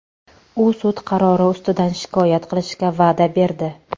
U sud qarori ustidan shikoyat qilishga va’da berdi.